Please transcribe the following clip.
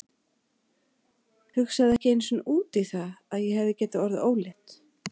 Hugsaði ekki einu sinni út í það að ég hefði getað orðið ólétt.